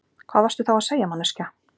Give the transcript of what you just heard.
Hvað varstu þá að segja manneskja?